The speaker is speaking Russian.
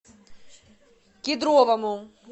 кедровому